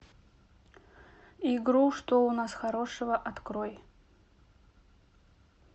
игру что у нас хорошего открой